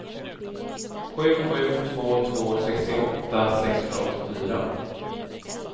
sju sju två två sextioåtta sexhundraåttiofyra